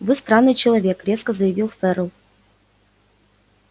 вы странный человек резко заявил ферл